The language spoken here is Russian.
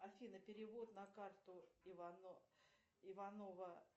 афина перевод на карту иванова